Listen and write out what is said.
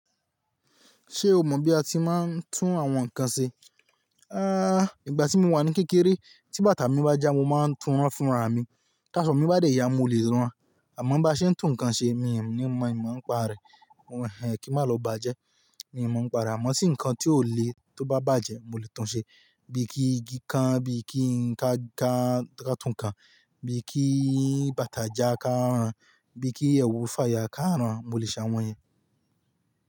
Ṣé o mọ̀ bí a ti máa ń tún àwọn nǹkan ṣe? Ah, ìgbà tí mo wà ní kékeré, tí bàtà mi bá já mo máa ń tún rán fún ra mi. Tí aṣọ mi bá dẹ̀yà mo lè rán an. Àmọ́ bá ṣe ń tún nǹkan ṣe mi ò ní mọ̀ n mọ ń pa rè. Mo ehn kí n má lọ bàjẹ́. N mọ ń pa rè. Àmọ́ sì nǹkan tí ó le tó bá bàjẹ́ mo lè tún ṣe. Bí i kí igi kan, bí i kí n ka ká tún kan, bí i kí bàtà já ká ràn, bí i kí ẹwù fáyà ká ràn. Mo lè ṣe àwọn yẹn.